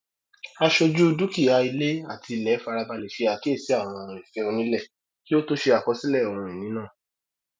àsọjù dúkìá ilé àti ilẹ farabalẹ ṣe àkíyèsí àwọn ìfẹ onílẹ kí ó tó ṣe àkọsílẹ ohunini náà